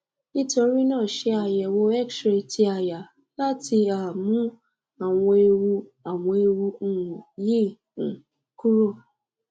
nitori náà ṣe àyẹ̀wò xray ti aya láti um mú àwọn ewu àwọn ewu um yìí um kúrò